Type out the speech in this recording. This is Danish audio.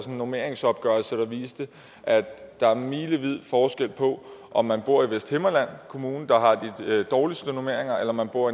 en normeringsopgørelse der viste at der er milevid forskel på om man bor i vesthimmerlands kommune der har de dårligste normeringer eller man bor